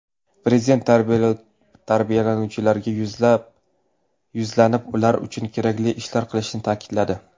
Prezident tarbiyalanuvchilarga yuzlanib, ular uchun kerakli ishlar qilinishini ta’kidladi.